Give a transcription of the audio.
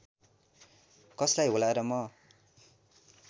कसलाई होला र म